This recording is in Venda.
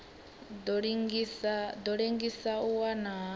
ḓo ḽengisa u wa ha